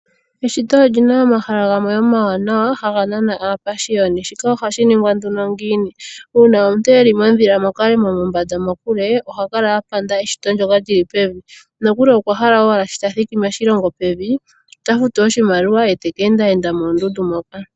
Eshito olyina omahala gamwe omawanawa haga nana aapashiyoni shika ohasghi ningwa ano ngiini ,una omuntu eli modhila mokalemo mokule oha kala apanda eshito ndyoka lyi li pevi nokuli okwa hala owala sho tathiki moshilongo pevi otafutu oshimaliwa ye taka enda enda mondundu moka.